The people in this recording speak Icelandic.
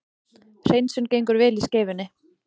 Hreinsun gengur vel í Skeifunni